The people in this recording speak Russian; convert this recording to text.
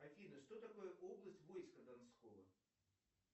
афина что такое область войска донского